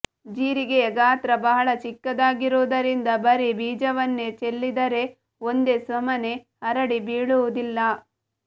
ಜೀರಿಗೆಯ ಗಾತ್ರ ಬಹಳ ಚಿಕ್ಕದಾಗಿರುವುದರಿಂದ ಬರೀ ಬೀಜವನ್ನೆ ಚೆಲ್ಲಿದರೆ ಒಂದೇ ಸಮನೆ ಹರಡಿ ಬೀಳುವುದಿಲ್ಲ